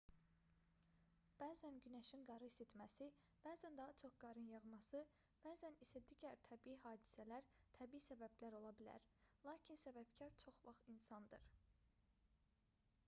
bəzən günəşin qarı isitməsi bəzən daha çox qarın yağması bəzən isə digər təbii hadisələr təbii səbəblər ola bilər lakin səbəbkar çox vaxt insandır